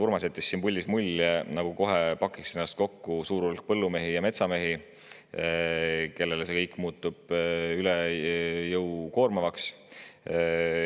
Urmas jättis siin puldis mulje, nagu kohe pakiks kokku suur hulk põllumehi ja metsamehi, kellele see kõik muutub üle jõu käivalt koormavaks.